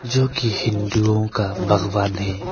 जोकि हिन्दुओं का भगवान है।